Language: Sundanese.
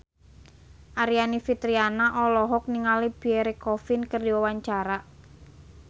Aryani Fitriana olohok ningali Pierre Coffin keur diwawancara